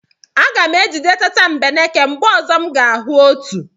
Aga m ejide tatambeneke mgbe ọzọ m ga-ahụ otu.